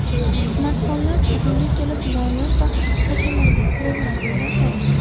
Smartfonlar bugunga kelib noyob va hashamatli qurilma bo‘lmay qoldi.